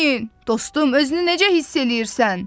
Dostum, özünü necə hiss eləyirsən?